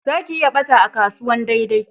Za ki iya ɓata a kasuwan daidai